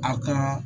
Aw ka